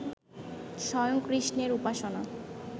স্বয়ং কৃষ্ণের উপাসনা